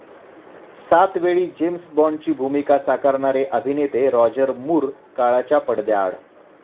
सातवेळी James बाॅन्डची भूमिका साकारणारे अभिनेते राॅजर मूर काळाच्या पडद्याआड